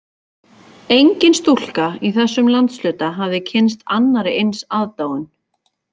Engin stúlka í þessum landshluta hafði kynnst annarri eins aðdáun